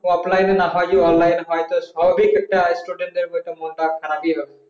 ofline না হয় যদি online হয় যদি স্বাভাবিক student সাধনত মাথা খারাপ হবে